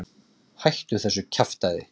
Hættu þessu kjaftæði.